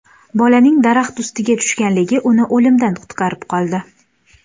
Bolaning daraxt ustiga tushganligi uni o‘limdan qutqarib qoldi.